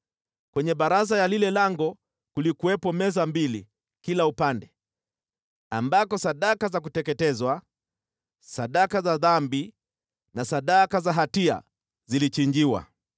Kwenye baraza ya lile lango kulikuwepo meza mbili kila upande, ambako sadaka za kuteketezwa, sadaka za dhambi na sadaka za hatia zilichinjiwa.